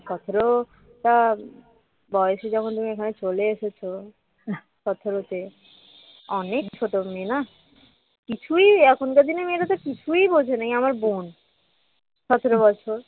সতেরো টা বয়সে যখন তুমি এখানে চলে এসেছো সতেরো তে অনেক ছোট মেয়ে না কিছুই এখনকার দিনে মেয়েরা তো কিছুই বোঝেনা আমার বোন যেমন আমার বোন সতেরো বছর